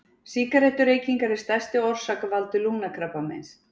Sígarettureykingar er stærsti orsakavaldur lungnakrabbameins.